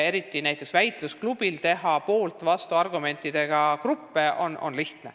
Eriti lihtne on näiteks väitlusklubil teha poolt- ja vastuargumentidega gruppe.